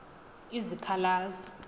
izikhalazo